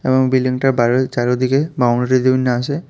এবং বিল্ডিংটার বাইরে চারদিকে আছে।